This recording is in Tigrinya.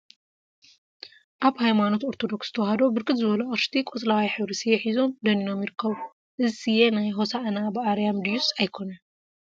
ሃይማኖት ሃይማኖት ኦርቶዶክሰ ተዋህዶ ብርክት ዝበሉ አቅሽቲ ቆፅለዋይ ሕብሪ ስየ ሒዞም ደኒኖም ይርከቡ፡፡ እዚ ስየ ናይ ሆሳኢና በአርያም ድዩስ አይኮነን?